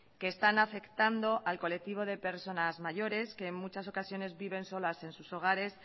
que están afectando al colectivo de personas mayores que en muchas ocasiones viven solas en sus hogares